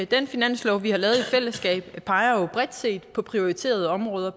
den finanslov vi har lavet i fællesskab peger jo bredt set på prioriterede områder